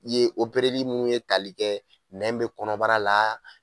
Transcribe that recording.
I ye opereli minnu ye tali kɛ nɛn bɛ kɔnɔbara la.